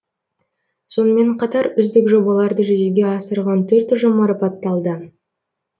сонымен қатар үздік жобаларды жүзеге асырған төрт ұжым марапатталды